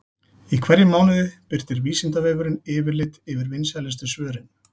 Í hverjum mánuði birtir Vísindavefurinn yfirlit yfir vinsælustu svörin.